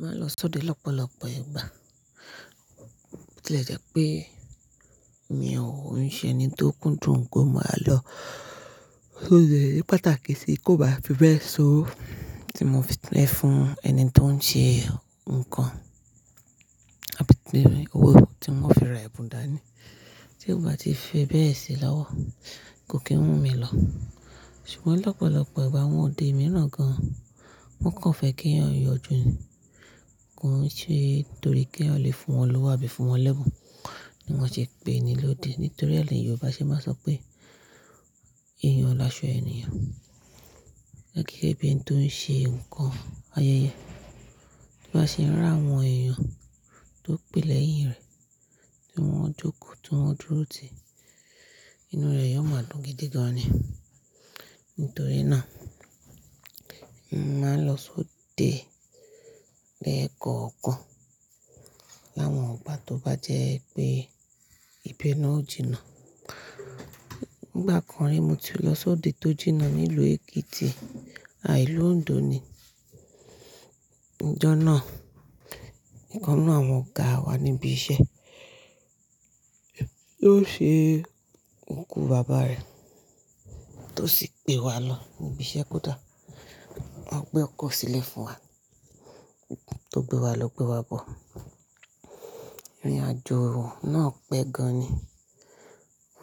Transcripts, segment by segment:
Máa lọ sóde lọ́pọ̀lọ̀pọ̀ ìgbà. Kílè jẹ́ pé mi òun ṣe ẹni tó kúndùn kó máa lọ sóde. Ípàtàkì sì kí ó bá fi bẹ́ẹ̀ so tí mo fi lè fún ẹni tó ń ṣe nǹkan, àbí pé owó tí wọ́n fi ra ẹ̀bùn dání. Tí ó bá ti fẹ bẹ́ẹ̀ sí i láwọ̀ kò kí ń mú mi lọ. Ṣùgbọ́n lọ́pọ̀lọ̀pọ̀ ìgbà àwọn òde mìíràn gan wọ́n kàn fẹ́ kí èyàn yọ jù ni, kí ó ṣe torí kí wọn lè fún wọn lọ́wọ́ àbí fún wọn lẹ́bùn ni wọ́n ṣe pè ni lóde. Nítorí ẹni Yorùbá ṣe máa sọ pé "èèyàn laṣọ ènìyàn". Lákìíké bí ẹni tó ń ṣe nǹkan ayẹyẹ bá ṣe ń rà àwọn èèyàn tó pílẹ̀yìn rẹ̀ tí wọ́n jókòó, tí wọ́n dúró ti inú rẹ̀ yóò máa dùn gidi gan ni. Nítorí náà, mo máa ń lọ sóde lẹ́ẹ̀kan ọ̀kan láwọn ìgbà tó bá jẹ́ pé ibè náà ó jìnà. Ǹgbà kan rí mo ti lọ sóde tó jìnà nílùú Èkìtì, àh ìlú Òǹdó ni. Ǹjọ́ náà, ọ̀kan nínú àwọn ọ̀gáa wa níbi iṣẹ́ ló ṣe òkú bàbá rẹ̀ tó sì pè wa lọ níbi iṣẹ́ kódà. Wọ́n gbẹ́ ọkọ̀ sílẹ̀ fún wa tó gbé wa lọ gbé wa bọ̀. Ìrìn àjò náà pẹ́ gan ni.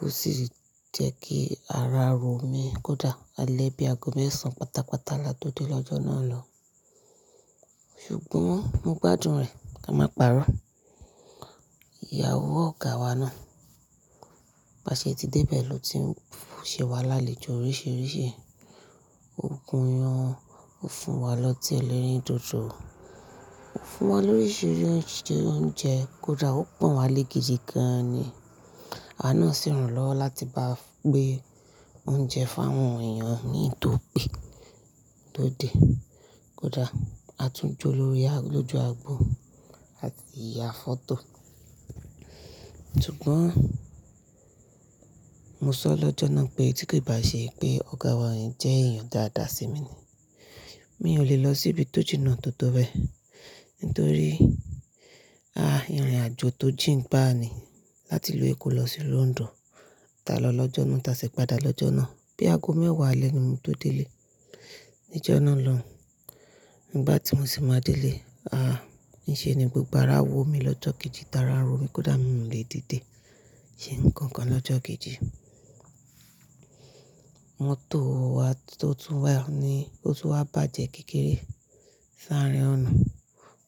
Ó sì jẹ́ kí ara ro mi kódà alẹ́ bí aago mẹ́sàn án pátápátá la tó dé lọ́jọ́ náà lọ́hùn. Ṣùgbọ́n mo gbádùn rẹ̀ ká máa pàrọ̀. Ìyàwó ọ̀gáa wa náà bá ṣe ti dé bẹ̀ lọ ti ń fò ṣe wá lálejò oríṣiríṣi. Ó gun ìyàn, ó fún wa lọ́tí ẹlẹ́rìndòdò, ó fún wa lórí oríṣiríṣi oúnjẹ kódà ó pọ̀n wá lé gidi gan ni. Àwa náà sì ràn lọ́wọ́ láti bá gbé oúnjẹ fún àwọn èèyàn mi tópé lóde. Kódà a tún jó lórí lójú agbo àsì yà fọ́tò. Ṣùgbọ́n mo sọ lọ́jọ́ náà pé tí kì í bá ṣe pé ọ̀gáa wa yẹn jẹ́ èèyàn dáadáa sí mi ni mi ò lè lọ sí ibi tó jìnà tó tòó bẹ nítorí a ìrìnàjò tó jìn gbá ni láti ìlú Èkó lọ sí ìlú Òǹdó. Tà lọ lọ́jọ́ náà, tà sì padà lọ́jọ́ náà. Bí aago mẹ́wàá alẹ́ ni mo tó délé níjọ́ náà lọ́hùn. Ǹgbà tí mo sì máa délé, a! Ǹṣe ni gbogbo ara wò mí lọ́jọ́ kejì, tara ara ro mi kódà mi ò lè dìde ṣe nǹkan kan lọ́jọ́ kejì. Mọ́tò wa tó tún wà ni ó tún wá bàjẹ́ kékeré s'árín ọ̀nà.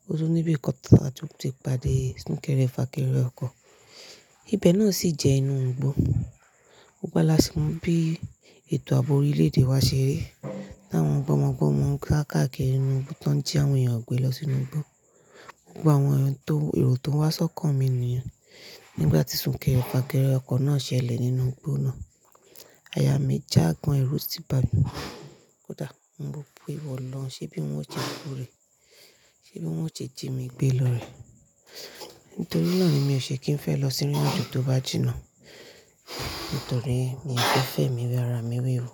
Ó tún níbi kan tá a tún ti pàdé súnkẹrẹ fàkẹrẹ ọkọ̀. Ibi náà sì jẹ́ inú igbó. Gbogbo wa làsì mo bí ètò abọ́ orílẹ̀-èdè wa ṣe rí. Táwọn gbọ́mọgbọ́mọ ń ká kákakiri inú igbó tá ń jí àwọn èèyàn gbé lọ sínú igbó. Gbogbo àwọn èrò tó rò ó tó ń wá sọ́kàn mi nìyẹn nígbà tí súnkẹrẹ fàkẹrẹ ọkọ̀ náà ṣẹlẹ̀ nínú igbó náà. Aya mi já gan èrú sí bàmí kódà mo pe ìwọ olóhùn ṣe bí wọ́n ó ṣe kú rè, ṣe bí wọ́n ó ṣe jí mi gbé lọ rẹ̀. Nítorí náà ni mi ò ṣe kí ń fẹ́ lọ sí ìrìn àjò tó bá jìnà. Nítorí mi fẹ́ fẹ́mi wẹ́ ara mi wẹ́wu.